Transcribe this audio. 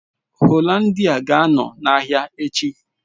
Hollandia ga-anọ na ahịa echi